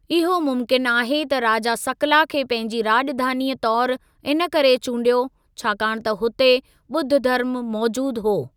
इहो मुमकिन आहे त राजा सकला खे पंहिंजी राॼधानीअ तौरु इन करे चूंडियो, छाकाणि त हुते ॿुध धर्मु मौजूदु हो।